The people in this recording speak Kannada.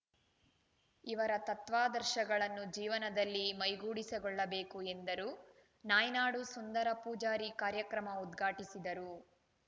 ಇವರ ತತ್ವಾದರ್ಶಗಳನ್ನು ಜೀವನದಲ್ಲಿ ಮೈಗೂಡಿಸಿಕೊಳ್ಳಬೇಕು ಎಂದರು ನಾಯ್ನಾಡು ಸುಂದರ ಪೂಜಾರಿ ಕಾರ್ಯಕ್ರಮ ಉದ್ಘಾಟಿಸಿದರು